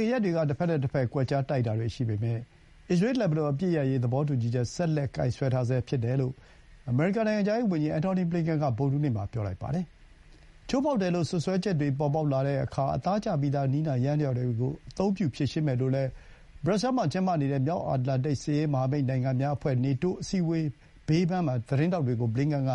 ခင်ရက်တွေက တစ်ဘက်နဲ့ တစ်ဘက် ကွက်ကြား တိုက်တာတွေ ရှိပေမဲ့ အစ္စရေး လက်ဘနွန် အပစ်ရပ်ရေး သဘောတူညီချက် ဆက်လက် ကိုင်စွဲထားဆဲ ဖြစ်တယ်လို့ အမေရိကန် နိုင်ငံခြားရေး ဝန်ကြီး Antony Blinken က ဗုဒ္ဓဟူးနေ့မှာ ပြောပါတယ်။ ချိုးဖောက်တယ်လို့ စွပ်စွဲချက်တွေ ပေါ်ပေါက်လာတဲ့အခါ အသားကျပြီးသား နည်းနာယန္တယားတွေကို အသုံးပြု ဖြေရှင်းမယ်လို့လည်း ဘရပ်ဆဲမှာ ကျင်းပနေတဲ့ မြောက်အတ္တလန်တိတ် စစ်ရေး မဟာမိတ်နိုင်ငံများ အဖွဲ့ နေတိုး အစည်းအဝေး ဘေးပန်းမှာ သတင်းထောက်တွေကို ဘလင်ကန် က